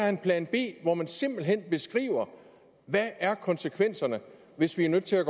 en plan b hvor man simpelt hen beskriver konsekvenserne hvis vi er nødt til at